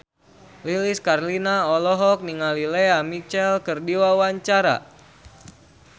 Lilis Karlina olohok ningali Lea Michele keur diwawancara